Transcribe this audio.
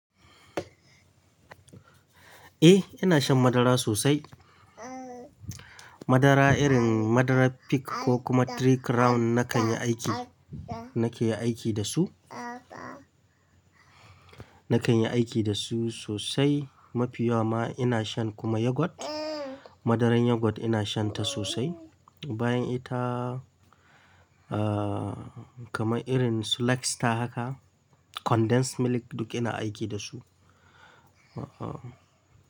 Eh, ina shan madara sosai. Madara irin madara Peak ko kuma Trikrown nan kan yi aiki nake aiki dasu na kan yi aiki da su sosai. Mafi yawa ma ina shan kuma Yogurt. Madaran Yogurt ina shan ta sosai. Bayan ita, ah, kamar irin su Lux ta haka, condensed milk duk ina aiki da su. Ah ah.